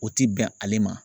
O ti bɛn ale ma.